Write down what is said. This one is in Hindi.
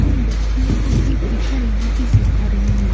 इन बच्चियों को एक टीचर यहाँ पर सीखा रही हैं।